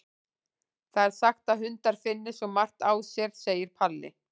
Það er sagt að hundar finni svo margt á sér, segir Palli.